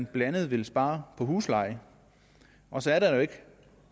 blandt andet vil spare på huslejen og så er der jo ikke